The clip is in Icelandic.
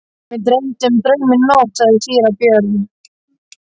Mig dreymdi draum í nótt, sagði síra Björn.